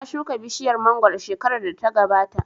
Na shuka bishiyar mangoro shekarar da ta gabata